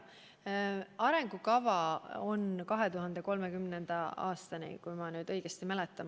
Arengukava on koostatud 2030. aastani, kui ma õigesti mäletan.